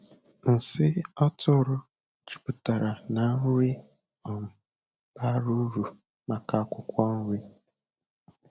Nsị atụrụ jupụtara na nri um bara uru maka akwụkwọ nri.